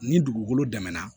Ni dugukolo dɛmɛ na